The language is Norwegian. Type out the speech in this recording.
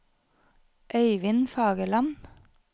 Øyvin Fagerland